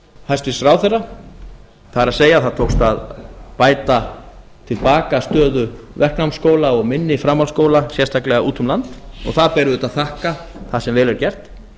hæstvirts ráðherra það er það tókst að bæta til baka stöðu verknámsskóla og minni framhaldsskóla sérstaklega úti um land og það ber auðvitað að þakka það sem vel er gert